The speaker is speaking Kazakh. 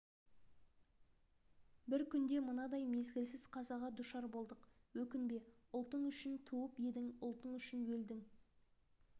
бір күнде мынадай мезгілсіз қазаға душар болдық өкінбе ұлтың үшін туып едің ұлтың үшін өлдің